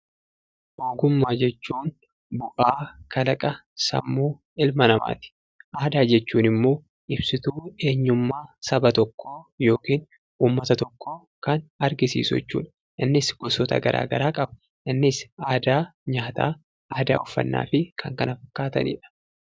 Ogummaa jechuun bu'aa sammuu ilma namaati. Aadaa jechuun immoo ibsituu eenyummaa saba tokkoo yookiin uummata tokkoo kan argisiisu jechuudha. Aadaanis wantoota garaa garaa qaba: aadaa nyaataa, aadaa uffannaa kaasuu dandeenya.